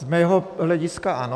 Z mého hlediska ano.